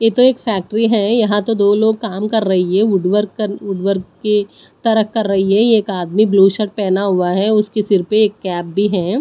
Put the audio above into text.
ये तो एक फैक्ट्री है यहां तो दो लोग काम कर रही है वुड वर्क वुड वर्क की तरह कर रही है एक आदमी ब्लू शर्ट पहना हुआ है उसके सिर पे एक कैप भी है।